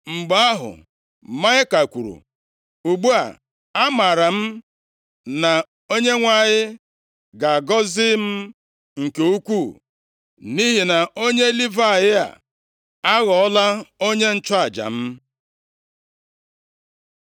Mgbe ahụ, Maịka kwuru, “Ugbu a, amaara m na Onyenwe anyị ga-agọzi m nke ukwuu, nʼihi na onye Livayị a aghọọla onye nchụaja m.”